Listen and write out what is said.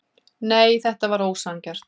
Nei, þetta var ósanngjarnt.